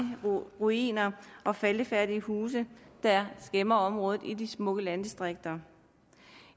ruiner og faldefærdige huse der skæmmer området i de smukke landdistrikter